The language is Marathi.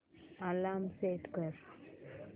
अलार्म सेट कर